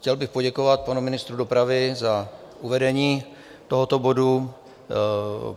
Chtěl bych poděkovat panu ministru dopravy za uvedení tohoto bodu.